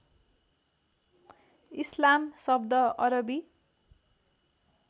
इस्लाम शब्द अरबी